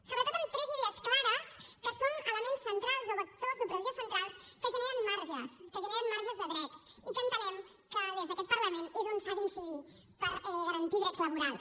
sobretot en tres idees clares que són elements centrals o vectors d’opressió centrals que generen marges que generen marges de drets i que entenem que des d’aquest parlament és on s’ha d’incidir per garantir drets laborals